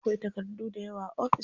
Akwai takardu dayawa a ofis.